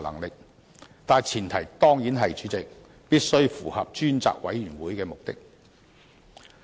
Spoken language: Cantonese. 不過，主席，前提當然是必須符合成立專責委員會的目的。